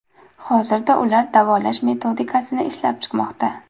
Hozirda ular davolash metodikasini ishlab chiqmoqda.